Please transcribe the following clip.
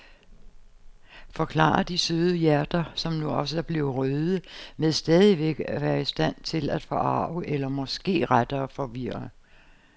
Forklarer de søde hjerter, som nu også er blevet røde, men stadigvæk er i stand til at forarge eller måske rettere forvirre.